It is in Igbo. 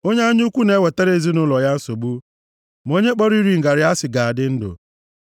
Onye anya ukwu na-ewetara ezinaụlọ ya nsogbu. Ma onye kpọrọ iri ngarị asị ga-adị ndụ.